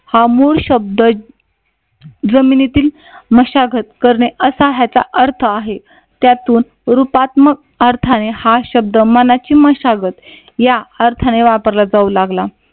हा मूळ शब्द जमिनीतील मशागत करणे. असा ह्याचा अर्थ आहे. त्यातून रुपात्मक अर्थाने हा शब्द मनाची मशागत या अर्थाने वापरला जाऊ लागला.